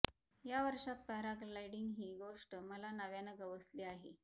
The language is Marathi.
या वर्षात पॅराग्लायडिंग ही गोष्ट मला नव्यानं गवसली आहे